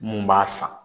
Mun b'a san